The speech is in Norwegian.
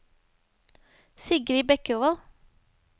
Sigrid Bekkevold